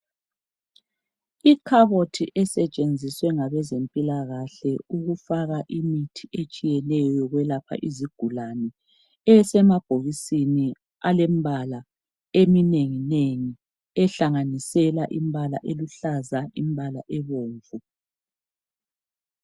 Ikhabothi esetshenziswe ngabezempilakahle ukufaka imithi etshiyeneyo yokwelapha izigulane esemabhokisini alemibala eminenginengi ehlanganisela umbala oluhlaza lobomvu.